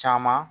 Caman